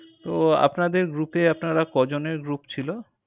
তো আপনাদের group এ আপনারা কজনের group ছিল?